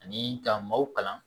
Ani ka maaw kalan